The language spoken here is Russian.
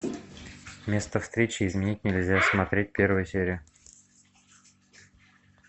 место встречи изменить нельзя смотреть первую серию